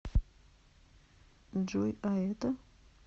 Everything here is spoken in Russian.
джой а это